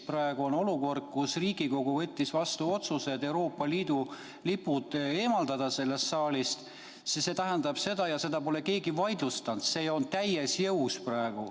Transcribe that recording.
Praegu on olukord, kus Riigikogu võttis vastu otsuse Euroopa Liidu lipud sellest saalist eemaldada ja seda pole keegi vaidlustanud, see otsus on praegu täies jõus.